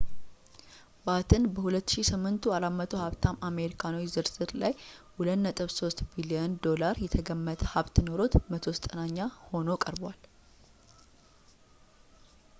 ባትን በ2008ቱ 400 ሀብታም አሜሪካኖች ዝርዝር ላይ $2.3 ቢልየን የተገመተ ሀብት ኖሮት 190ኛ ሆኖ ቀርቧል